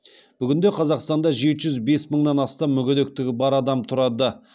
бүгінде қазақстанда жеті жүз бес мыңнан астам мүгедектігі бар адам тұрады